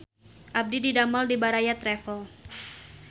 Abdi didamel di Baraya Travel